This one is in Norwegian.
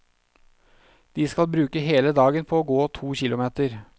De skal bruke hele dagen på å gå to kilometer.